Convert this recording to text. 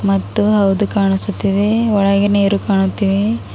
ಮತ್ತು ಹವದು ಕಾಣಿಸುತ್ತಿದೆ ಒಳಗೆ ನೀರು ಕಾಣುತ್ತಿವೆ.